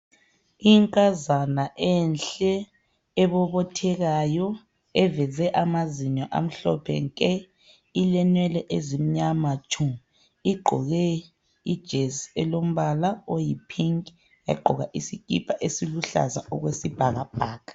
Inkazana enhle ebobothekayo eveze amazinyo amhlophe nke ilenwele ezimyama tshu igqoke ijesi elombala oyi pink yagqoka isikipa esiluhlaza okwesibhakabhaka.